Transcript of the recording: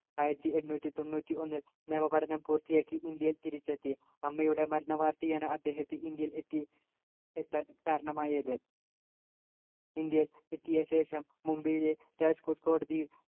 ആയിരത്തി എണ്ണൂറ്റിതൊണ്ണൂറ്റിഒന്നിൽ നിയമപഠനം പൂർത്തിയാക്കി ഇന്ത്യയിൽ തിരിച്ചെത്തി അമ്മയുടെ മരണവാർത്തയാണ് അദ്ദേഹത്തെ ഇന്ത്യയിൽ എത്തി എത്താൻ കാരണമായത് ഇന്ത്യയിൽ എത്തിയ ശേഷം മുംബൈയിലെ രാജ്കോട്ട് കോടതിയിൽ